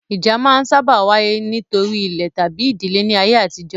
Ìjà máa n sáábà wáyé nítorí ilẹ̀ tabi ìdílé ní ayé àtijó